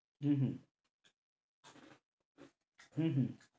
হম হম হম হম